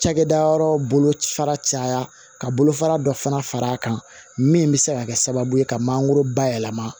Cakɛda yɔrɔ bolo fara caya ka bolo fara dɔ fana fara kan min bɛ se ka kɛ sababu ye ka mangoro bayɛlɛma